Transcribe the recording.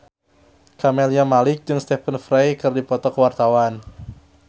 Camelia Malik jeung Stephen Fry keur dipoto ku wartawan